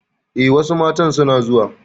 Eh, wasu matan suna zuwa